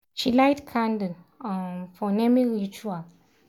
she light candle um for naming ritual.